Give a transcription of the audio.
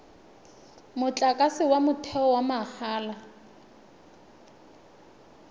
motlakase wa motheo wa mahala